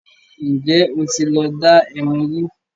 ǹjẹ́ ó tí lọ dá ẹmu rí?